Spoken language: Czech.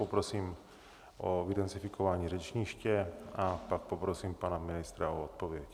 Poprosím o vydezinfikování řečniště a pak poprosím pana ministra o odpověď.